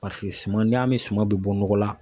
Paseke suman ni y'a ye an bɛ suman bɛ bɔ nɔgɔ la.